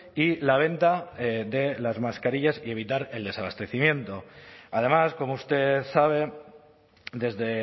y la venta de las mascarillas y evitar el desabastecimiento además como usted sabe desde